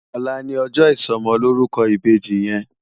Òlá ni òjò isòmòlórúkò ibéji yèn